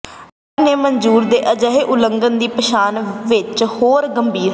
ਅਧਿਕਾਰੀ ਨੇ ਮਨਜ਼ੂਰ ਦੇ ਅਜਿਹੇ ਉਲੰਘਣਾ ਦੀ ਪਛਾਣ ਵਿੱਚ ਹੋਰ ਗੰਭੀਰ ਹਨ